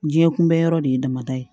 Diɲɛ kunbɛ yɔrɔ de ye damada ye